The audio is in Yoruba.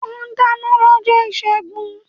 O dáná lọ́jọ́ ìṣẹ́gun.